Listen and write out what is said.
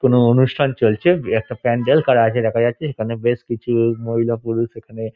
কোনো অনুষ্ঠান চলছে । একটা প্যান্ডেল করা আছে দেখা যাচ্ছে সেখানে বেশ কিছু মহিলা পুরুষ এখানে --